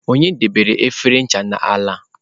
Onye debere efere ncha a n'ala?